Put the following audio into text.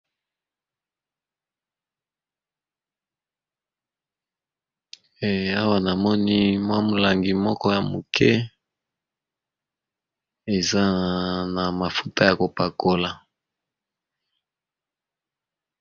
Awa namoni mwa molangi moko ya moke eza na mafuta ya kopakola.